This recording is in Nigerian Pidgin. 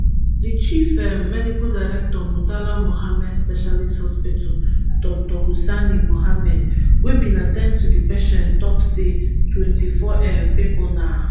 di chief um medical director murtala muhammad specialist hospital dr hussaini muhammad wey bin at ten d to di patients tok say twenty-four um pipo na